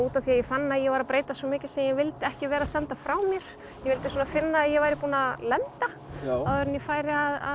af því að ég fann að ég var að breytast mikið sem ég vildi ekki senda frá mér ég vildi finna að ég væri búin að lenda áður en ég færi að